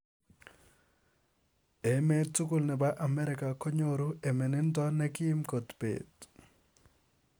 Emeet tugul nepoo Amerika konyoruu emenindo negim kot peet